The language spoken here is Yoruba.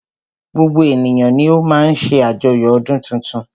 Gbogbo ènìyàn ni o má ń ṣe àjoyo ọdún tuntun.